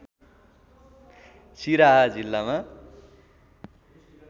सिराहा जिल्लामा